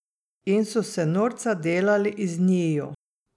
In so se norca delali iz njiju.